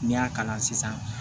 N'i y'a kalan sisan